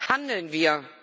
Handeln wir!